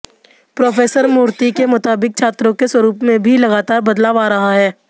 professor Murthy के मुताबिक छात्रों के स्वरूप में भी लगातार बदलाव आ रहा है